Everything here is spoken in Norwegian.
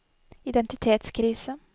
identitetskrise